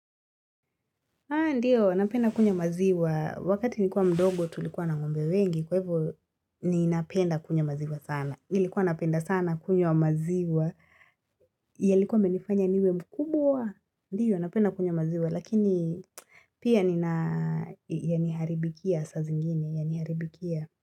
Ndiyo, napenda kunywa maziwa. Wakati nilikuwa mdogo tulikuwa na ngombe wengi. Kwa hivyo, ninapenda kunywa maziwa sana. Nilikuwa napenda sana kunywa maziwa. Yalikuwa yamenifanya niwe mkubwa. Ndiyo, napenda kunya maziwa. Lakini, pia nina yaniharibikia saa zingine, yaniharibikia.